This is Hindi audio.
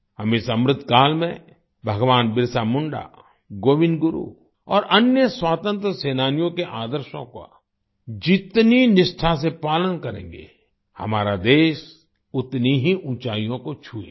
हम इस अमृतकाल में भगवान बिरसा मुंडा गोविन्द गुरु और अन्य स्वातंत्र सेनानियों के आदर्शों का जितनी निष्ठा से पालन करेंगे हमारा देश उतनी ही ऊँचाइयों को छू लेगा